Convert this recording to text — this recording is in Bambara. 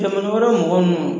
Jamana wɛrɛ mɔgɔ nnu